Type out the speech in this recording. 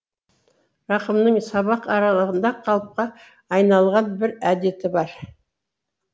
рақымның сабақ аралығында қалыпқа айналған бір әдеті бар